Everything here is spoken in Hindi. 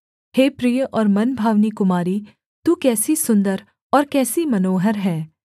हे प्रिय और मनभावनी कुमारी तू कैसी सुन्दर और कैसी मनोहर है